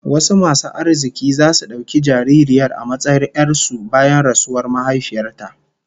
Wasu masu arziki zasu dauki jaririyar a matsayin 'yar su bayan rasuwar mahaifiyar ta